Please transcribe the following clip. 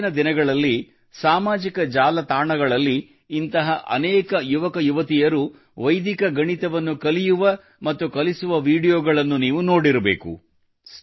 ಇತ್ತೀಚಿನ ದಿನಗಳಲ್ಲಿ ಸಾಮಾಜಿಕ ಜಾಲತಾಣಗಳಲ್ಲಿ ಇಂತಹ ಅನೇಕ ಯುವಕರು ವೈದಿಕ ಗಣಿತವನ್ನು ಕಲಿಯುವ ಮತ್ತು ಕಲಿಸುವ ವೀಡಿಯೊಗಳನ್ನು ನೀವು ನೋಡಿರಬೇಕು